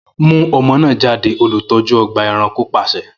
Mu ọmọ naa jade, olutọju ọgba ẹranko paṣẹ!